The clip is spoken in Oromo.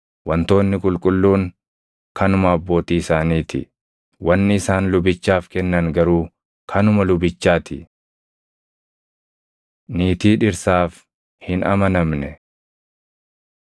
Wantoonni qulqulluun kanuma abbootii isaanii ti; wanni isaan lubichaaf kennan garuu kanuma lubichaa ti.’ ” Niitii Dhirsaaf Hin Amanamne